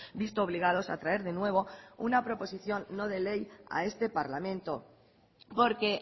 visto obligados a traer de nuevo una proposición no de ley a este parlamento porque